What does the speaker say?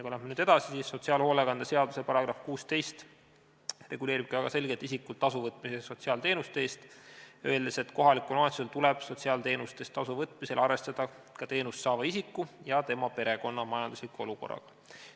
" Kui me läheme edasi, siis sotsiaalhoolekande seaduse § 16 reguleerib väga selgelt ka isikult tasu võtmist sotsiaalteenuste eest, öeldes, et kohalikul omavalitsusel tuleb sotsiaalteenuste eest tasu võtmisel arvestada ka teenust saava isiku ja tema perekonna majandusliku olukorraga.